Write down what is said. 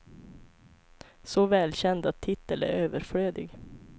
Så välkänd att titel är överflödig.